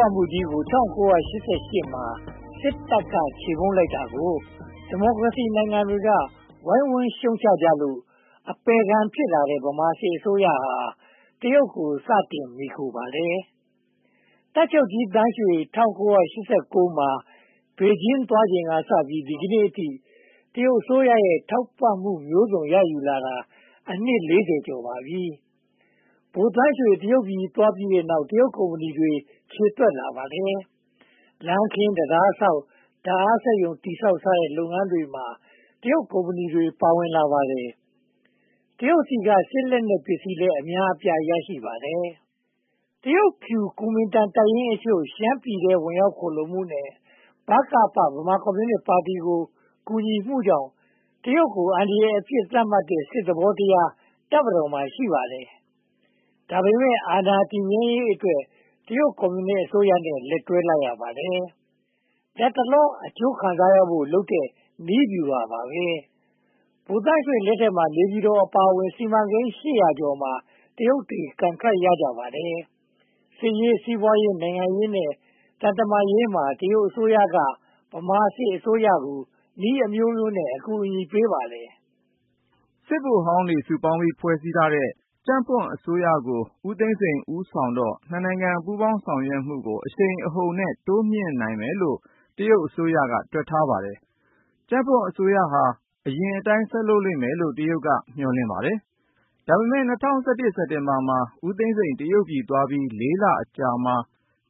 ွမှုကြီးကို ၁၉၈၈ မှာ စစ်တပ်က ချေမှုန်းလိုက်တာကို ဒီမိုကရေစီနိုင်ငံတွေက ဝိုင်းဝန်းရှုတ်ချကြလို့ အပယ်ခံဖြစ်လာတဲ့ ဗမာစစ်အစိုးရက တရုတ်ကို စတင်မှီခိုခဲ့ပါတယ်။ တပ်ချုပ်ကြီးသန်းရွှေ ၁၉၈၉ မှာ ဘေဂျင်းကို သွားချိန်ကစပြီး ဒီကနေ့အထိ တရုတ်အစိုးရရဲ့ ထောက်ပံ့မှုမျိုးစုံ ရယူလာတာ အနှစ် ကျော်ပါပြီ။ ဗိုလ်သန်းရွှေ တရုတ်ပြည်သွားပြီးနောက် တရုတ်ကုမ္ပဏီတွေ ခြေသွက်လာပါတယ်။ လမ်းခင်း၊ တံတားဆောက်၊ ဓါတ်အားပေးစက်ရုံတည်ဆောက်စတဲ့ လုပ်ငန်းတွေမှာ တရုတ်ကုမ္ပဏီတွေ ပါဝင်လာပါတယ်။ တရုတ်ဆီက စစ်လက်နက်ပစ္စည်းလည်း အများအပြား ရရှိပါတယ်။ တရုတ်ဖြူ ကူမင်တန်တပ်ရင်းအချို့ ရှမ်းပြည်နယ်ထဲ ဝင်ရောက်ခိုလှုံမှုနဲ့ ဗမာပြည်ကွန်မြူနစ်ပါတီကို ကူညီမှုကြောင့် တရုတ်ကို အန္တရာယ်အဖြစ် သတ်မှတ်တဲ့ စစ်သဘောတရား တပ်မတော်မှာ ရှိပါတယ်။ ဒါပေမဲ့ အာဏာတည်မြဲရေးအတွက် တရုတ်ကွန်မြူနစ်အစိုးရနဲ့ လက်တွဲလိုက်ရပါတယ်။ လတ်တလော အကျိုးခံစားရဖို့လုပ်တဲ့ နည်းဗျူဟာပါပဲ။ ဗိုလ်သန်းရွှေလက်ထက်မှာ နေပြည်တော်အပါအဝင် စီမံကိန်း ကျော်မှာ တရုတ်တွေ ကန်ထရိုက် ရပါတယ်။ စစ်ရေး၊ စီးပွားရေး၊ နိုင်ငံရေးနဲ့ သံတမန်ရေးမှာ တရုတ်အစိုးရက ဗမာစစ်အစိုးရကို နည်းအမျိုးမျိုးနဲ့ အကူအညီပေးပါတယ်။ စစ်ဗိုလ်ဟောင်းတွေ စုပေါင်းပြီး ဖွဲ့စည်းထားတဲ့ ကြံ့ဖွံ့အစိုးရကို ဦးသိန်းစိန် ခေါင်းဆောင်တော့ နိုင်ငံ ပူးပေါင်းဆောင်ရွက်မှုကို အရှိန်အဟုန်နဲ့ တိုးမြှင့်နိုင်မယ်လို့ တရုတ်အစိုးရက တွက်ထားပါတယ်။ ကြံ့ဖွံ့အစိုးရဟာ အရင်အတိုင်း ဆက်လုပ်လိမ့်မယ်လို့ တရုတ်က မျှော်လင့်ပါတယ်။ ဒါပေမဲ့ ၂၀၁၀ စက်တင်ဘာမှာ ဦးသိန်းစိန် တရုတ်ပြည်သွားပြီး လအကြာမှာ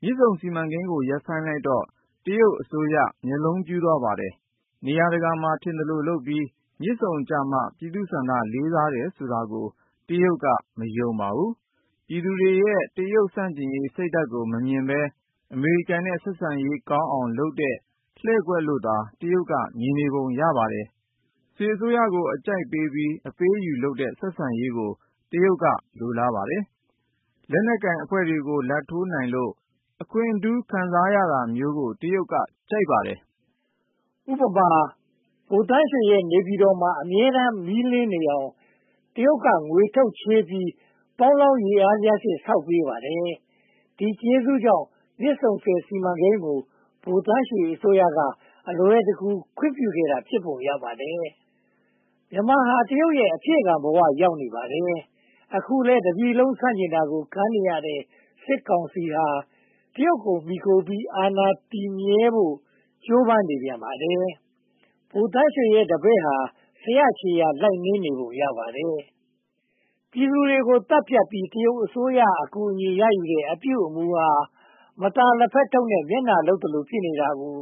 မြစ်ဆုံစီမံကိန်းကို ရပ်ဆိုင်းလိုက်တော့ တရုတ်အစိုးရ မျက်လုံးပြူးသွားပါတယ်။ နေရာတကာမှာ ထင်သလိုလုပ်ပြီး မြစ်ဆုံကြမှ ပြည်သူ့ဆန္ဒ လေးစားတယ်ဆိုတာကို တရုတ်က မယုံပါဘူး။ ပြည်သူတွေရဲ့ တရုတ်ဆန့်ကျင်ရေးစိတ်ဓါတ်ကို မမြင်ဘဲ အမေရိကန်နဲ့ ဆက်ဆံရေးကောင်းအောင်လုပ်တဲ့ လှည့်ကွက်လို့သာ တရုတ်က မြင်နေပုံရပါတယ်။ စစ်အစိုးရကို အကြိုက်ပေးပြီး အပေးအယူလုပ်တဲ့ ဆက်ဆံရေးကို တရုတ်က လိုလားပါတယ်။ လက်နက်ကိုင်အဖွဲ့တွေကို လာဘ်ထိုးနိုင်လို့ အခွင့်ထူးခံစားရတာမျိုးကို တရုတ်က ကြိုက်ပါတယ်။ ဥပမာ ဗိုလ်သန်းရွှေရဲ့ နေပြည်တော်မှာ အမြဲတမ်း မီးလင်းနေအောင် တရုတ်က ငွေထုတ်ချေးပြီး ပေါင်းလောင်းရေအားလျှပ်စစ် ဆောက်လုပ်ပေးပါတယ်။ ဒီကျေးဇူးတွေကြောင့် မြစ်ဆုံဆည်စီမံကိန်းကို ဗိုလ်သန်းရွှေအစိုးရက အလွယ်တကူ ခွင့်ပြုခဲ့တာ ဖြစ်ပုံရပါတယ်။ မြန်မာဟာ တရုတ်ရဲ့ အဖြည့်ခံဘဝ ရောက်နေပါတယ်။ အခုလဲ တပြည်လုံး ဆန့်ကျင်တာကို ခံနေရတဲ့ စစ်ကောင်စီဟာ တရုတ်ကို မှီခိုပြီး အာဏာတည်မြဲဖို့ကို ကြိုးပမ်းနေပြန်ပါတယ်။ ဗိုလ်သန်ရွှေရဲ့တပည့်ဟာ ဆရာခြေရာ လိုက်နင်းနေပုံ ရပါတယ်။ ပြည်သူတွေကို သတ်ဖြတ်ပြီး တရုတ်အစိုးရ အကူအညီရယူတဲ့ အပြုအမှုဟာ မသာလက်ဖက်ထုပ်နဲ့ မျက်နှာလုပ်သလို ဖြစ်နေတာကို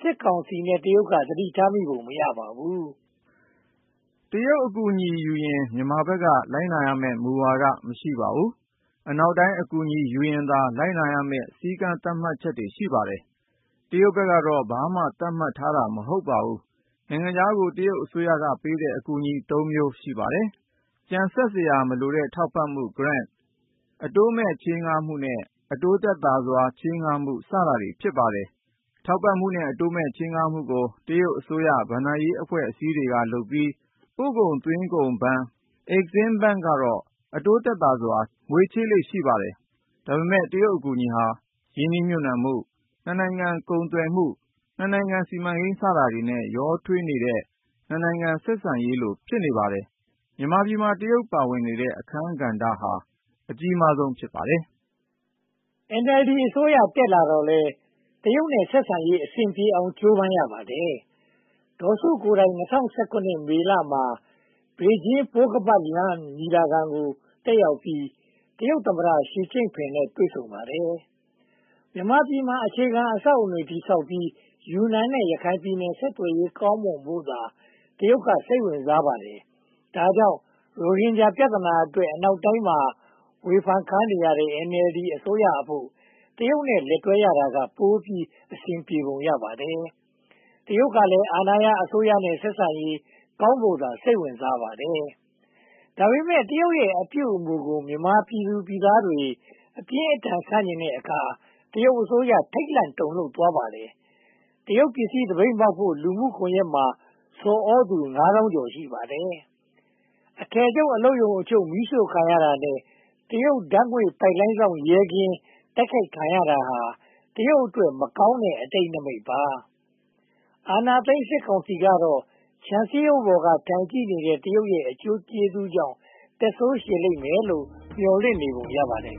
စစ်ကောင်စီနဲ့ တရုတ်တို့ သတိထားမိပုံ မရပါဘူး။ တရုတ်အကူအညီယူရင် မြန်မာဘက်က လိုက်နာရမယ့် မူဝါဒ မရှိပါဘူး။ အနောက်တိုင်း အကူအညီ ယူရင်သာ လိုက်နာရမယ့် စည်းကမ်းသတ်မှတ်ချက် ရှိပါတယ်။ တရုတ်ကတော့ ဘာမှ သတ်မှတ်ထားတာ မဟုတ်ပါဘူး။ နိုင်ငံခြားကို တရုတ်အစိုးရပေးတဲ့ အကူအညီ မျိုး ရှိပါတယ်။ ပြင်ဆင်စရာမလိုတဲ့ ထောက်ပံ့မှု, အတိုးမဲ့ချေးငှားမှု နဲ့ အတိုးသက်သာစွာ ချေငှားမှု စတာတွေ ဖြစ်ပါတယ်။ ထောက်ပံ့မှုနဲ့ အတိုးမဲ့ ချေးငှားမှုကို တရုတ်အစိုးရ ဘဏ္ဍာရေးအဖွဲ့အစည်းတွေကလုပ်ပြီး ပို့ကုန်သွင်းကုန်ဘဏ် ကတော့ အတိုးသက်သာစွာ ငွေချေးလေ့ ရှိပါတယ်။ ဒါပေမဲ့ တရုတ်အကူအညီဟာ ရင်းနှီးမြုပ်နံှမှု၊ နိုင်ငံ ကုန်သွယ်မှု၊ နိုင်ငံ စီမံကိန်း စတာတွေနဲ့ ရောထွေးနေတဲ့ နိုင်ငံ ဆက်ဆံရေးလို ဖြစ်နေပါတယ်။ မြန်မာပြည်မှာ တရုတ်ပါဝင်တဲ့ အခန်းကဏ္ဍဟာ အကြီးဆုံး ဖြစ်ပါတယ်။ NLD အစိုးရ တက်လာတော့လည်း တရုတ်နဲ့ ဆက်ဆံရေး အဆင်ပြေအောင် ကြိုးပမ်းရပါတယ်။ ဒေါ်စုကိုယ်တိုင် ၂၀၁၇ မေလမှာ ဘေဂျင်း ပိုးခါးပတ်လမ်းမ ညီလာခံကို တက်ရောက်ပြီး တရုတ်သမ္မတ ရှီကျင့်ဖိန်နဲ့ တွေ့ဆုံပါတယ်။ မြန်မာပြည်မှာ အခြေခံအဆောက်အအုံတွေ တည်ဆောက်ပြီး ယူနန်နဲ့ ရခိုင်ပြည်နယ် ဆက်သွယ်ရေးကောင်းမွန်ဖို့သာ တရုတ်က စိတ်ဝင်စားပါတယ်။ ဒါကြောင့် ရိုဟင်ဂျာ ပြဿနာအတွက် အနောက်တိုင်းမှာ ဝေဖန်ခံနေရတဲ့ NLD အစိုးရအဖို့ တရုတ်နဲ့ လက်တွဲရတာက ပိုပြီးအဆင်ပြေပုံ ရပါတယ်။ တရုတ်ကလည်း အာဏာရအစိုးရနဲ့ ဆက်ဆံရေးကောင်းဖို့သာ စိတ်ဝင်စားပါတယ်။ ဒါပေမဲ့ တရုတ်ရဲ့ အပြုအမှုကို မြန်မာပြည်သူတွေ အပြင်းအထန် ဆန့်ကျင်တဲ့အခါ တရုတ်အစိုးရ ထိတ်လန့်တုန်လှုပ်သွားရပါတယ်။ တရုတ်ပစ္စည်း သပိတ်မှောက်ဖို့ လူမှုကွန်ရက်မှာ ဆော်သြသူ ငါးသောင်းကျော် ရှိပါတယ်။ အထည်ချုပ် အလုပ်ရုံအချို့ မီးရှို့ခံရတာနဲ့ တရုတ်ဓါတ်ငွေ့ပိုက်လိုင်းစောင့် ရဲကင်း တိုက်ခိုက်ခံရတာဟာ တရုတ်အတွက် မကောင်းတဲ့ အတိတ်နမိတ်ပါ။ အာဏာသိမ်းစစ်ကောင်စီကတော့ ခြံစည်းရိုးပေါ်က ထိုင်ကြည့်နေတဲ့ တရုတ်ရဲ့ အကျိုးကျေးဇူးကြောင့် သက်ဆိုးရှည်လိမ့်မယ်လို့ မျှော်လင့်နေပုံ ရပါတယ်